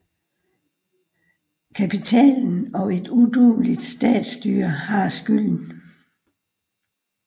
Kapitalen og et udueligt statsstyre har skylden